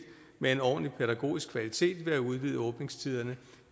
med en ordentlig pædagogisk kvalitet ved at udvide åbningstiderne